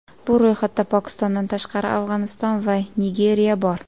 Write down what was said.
Bu ro‘yxatda, Pokistondan tashqari, Afg‘oniston va Nigeriya bor.